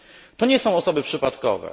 To nie są osoby przypadkowe.